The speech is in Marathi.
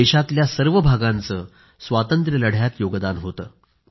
देशातल्या सर्व भागाचे स्वातंत्र्यलढ्यात योगदान होते